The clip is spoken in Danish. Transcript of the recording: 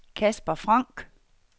Casper Frank